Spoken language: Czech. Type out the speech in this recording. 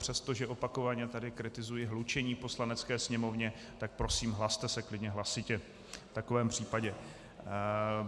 Přestože opakovaně tady kritizuji hlučení v Poslanecké sněmovně, tak prosím, hlaste se klidně hlasitě v takovém případě.